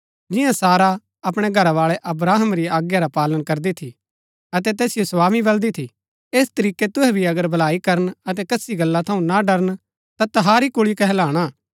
जिंआं सारा अपणै घरावाळै अब्राहम री आज्ञा रा पालन करदी थी अतै तैसिओ स्वामी बलदी थी ऐस तरीकै तुहै भी अगर भलाई करन अतै कसी गल्ला थऊँ ना डरन ता तहारी कुल्ळी कहलाणा